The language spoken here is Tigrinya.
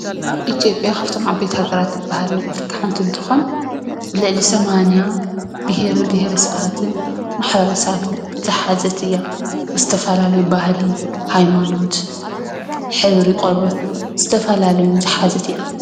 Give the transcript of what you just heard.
ኢትዮጰያ ካብቶም ዓበይቲ ሃገራት እትበሃል ናይ ኣፈሪካ ሓንቲ እንትኮን ልዕሊ ሰማንያ ብሄረ ብሄረ-ሰባትን ማሕበረሰባትን ዝሓዘት እያ። ዝተፈላለዩ ባህሊ፣ ሃይማኖት ፣ሕብሪ ቆርበት ዝሓዘት እያ።